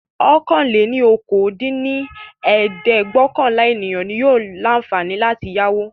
ọ̀kan-lé-ní-okòó dín ní ẹ̀ẹ́dẹ́gbẹ́ọ̀kànlá ènìyàn yóò ní àǹfààní láti yáwó.